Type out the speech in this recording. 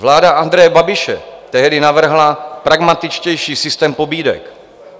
Vláda Andreje Babiše tehdy navrhla pragmatičtější systém pobídek.